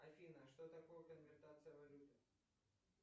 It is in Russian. афина что такое конвертация валюты